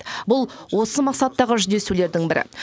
бұл осы мақсаттағы жүздесулердің бірі